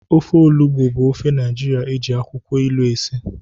Ofe Olugbu bụ ofe Naijiria eji akwụkwọ ilu esi.